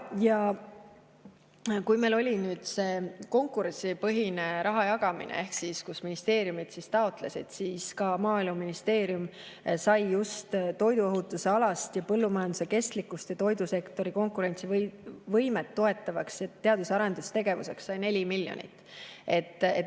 Kui meil oli nüüd see konkurentsipõhine raha jagamine, kus ministeeriumid taotlesid, siis ka Maaeluministeerium sai just toiduohutuse alaseks ja põllumajanduse kestlikkust ja toidusektori konkurentsivõimet toetavaks teadus- ja arendustegevuseks 4 miljonit.